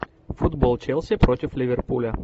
футбол челси против ливерпуля